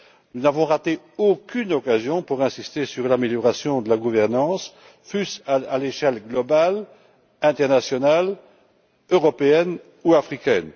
Nous n'avons manqué aucune occasion d'insister sur l'amélioration de la gouvernance, que ce soit à l'échelle globale, internationale, européenne ou africaine.